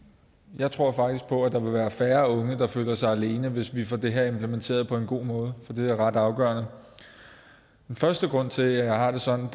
jeg tror faktisk på at der vil være færre unge der føler sig alene hvis vi får det her implementeret på en god måde for det er ret afgørende den første grund til at jeg har det sådan